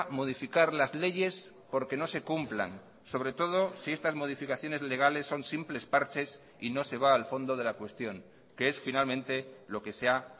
modificar las leyes porque no se cumplan sobre todo si estas modificaciones legales son simples parches y no se va al fondo de la cuestión que es finalmente lo que se ha